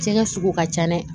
Jɛgɛ sugu ka ca dɛ